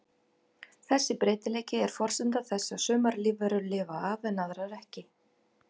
Þessi breytileiki er forsenda þess að sumar lífverur lifa af en aðrar ekki.